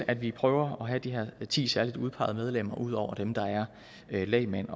at vi prøver at have de her ti særligt udpegede medlemmer ud over dem der er lægmænd